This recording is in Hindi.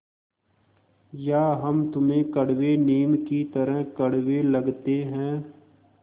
या हम तुम्हें कड़वे नीम की तरह कड़वे लगते हैं